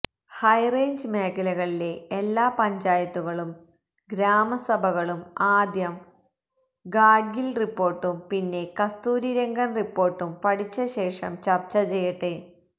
high range മേഖലകളിലെ എല്ലാ പഞ്ചായത്തുകളും ഗ്രാമസഭകളും ആദ്യം ഗാഡ്ഗില് റിപ്പോര്ട്ടും പിന്നെ കസ്തൂരി രംഗന് റിപ്പോര്ട്ടും പഠിച്ചശേഷം ചര്ച്ച ചെയ്യട്ടെ